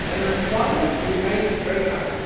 Unemployment remains very high.